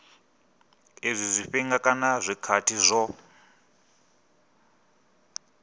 izwi zwifhinga kana zwikhathi zwo